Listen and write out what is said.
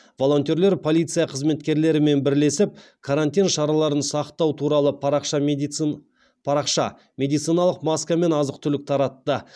волонтерлер полиция қызметкерлерімен бірлесіп карантин шараларын сақтау туралы парақша медициналық маска мен азық түлік таратты